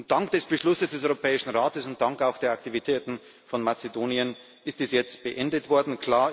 Dank des Beschlusses des Europäischen Rates und dank auch der Aktivitäten von Mazedonien ist das jetzt beendet worden.